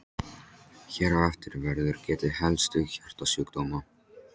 Hér á eftir verður getið helstu hjartasjúkdóma.